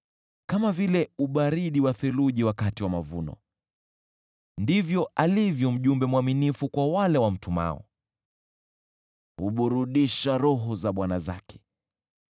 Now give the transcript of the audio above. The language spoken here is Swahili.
Kama vile ubaridi wa theluji wakati wa mavuno ndivyo alivyo mjumbe mwaminifu kwa wale wamtumao, huburudisha roho za bwana zake.